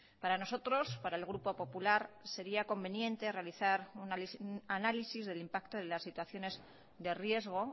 para nosotros para el grupo popular sería conveniente realizar un análisis del impacto de las situaciones de riesgo